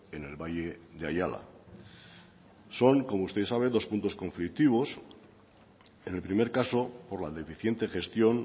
en el valle de ayala son como usted bien sabe dos puntos conflictivos en el primer caso por la deficiente gestión